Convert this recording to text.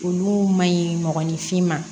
Olu man ɲi mɔgɔninfin ma